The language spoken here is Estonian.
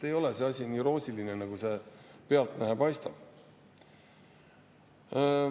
Ei ole see asi nii roosiline, nagu pealtnäha paistab.